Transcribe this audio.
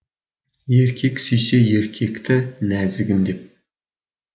еркек сүйсе еркекті нәзігім деп